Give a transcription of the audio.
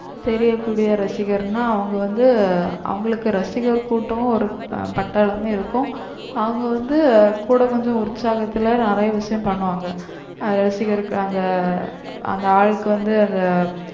தெரியக்கூடிய ரசிகர்னா அவங்க வந்து அவங்களுக்கு ரசிகர் கூட்டம் ஒரு பட்டாளமே இருக்கும் அவங்க வந்து கூட கொஞ்சம் உற்சாகத்துல நிறைய விஷயம் பண்ணுவாங்க ரசிகருக்கு அந்த ஆளுக்கு வந்து